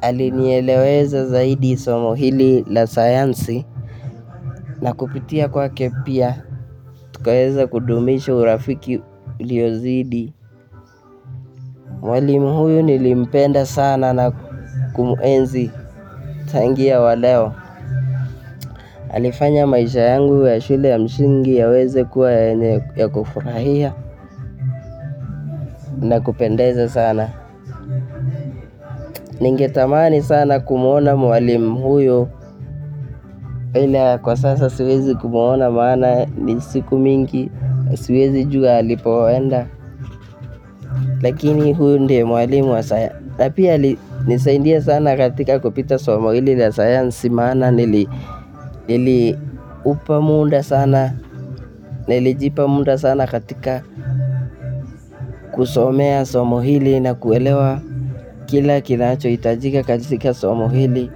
alinieleweza zaidi somo hili la sayansi na kupitia kwake pia. Tukaweza kudumisha urafiki uliozidi. Mwalimu huyu nilimpenda sana na kumuenzi tangia wa leo. Alifanya maisha yangu ya shule ya msingi yaweze kuwa yenye ya kufurahia na kupendeza sana. Ningetamani sana kumwona mwalimu huyo. Ila kwa sasa siwezi kumwona maana ni siku mingi. Siwezi jua alipoenda. Lakini huyo ndiye mwalimu wa saya. Na pia alinisaindia sana katika kupita somo hili na sayansi maana niliupamunda sana. Nelijipa munda sana katika kusomea somo hili na kuelewa kila kinacho itajika katika somo hili.